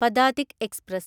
Padatik express